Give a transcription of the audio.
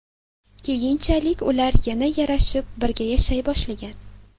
Keyinchalik ular yana yarashib, birga yashay boshlagan.